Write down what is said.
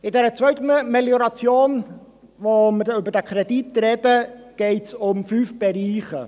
Beim Kredit für diese Zweitmelioration, über welchen wir sprechen, geht es um fünf Bereiche.